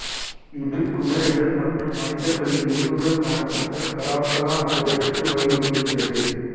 இது குதிரைகள் மற்றும் மனிதர்களின் எலும்புகள் காணப்பட்ட கராகலா மண்டபத்திற்கு வழிவகுக்கிறது